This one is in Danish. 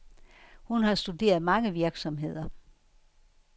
Hun har studeret mange virksomheder.